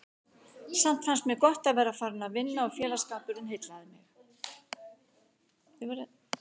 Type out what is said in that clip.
Samt fannst mér gott að vera farin að vinna og félagsskapurinn heillaði mig.